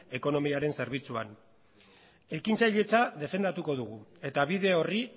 ekonomiaren zerbitzuan ekintzailetza defendatuko dugu eta bide horri